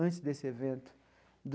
antes desse evento.